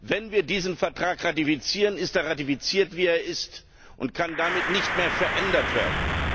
Wenn wir diesen Vertrag ratifizieren, ist er ratifiziert, wie er ist, und kann damit nicht mehr verändert werden.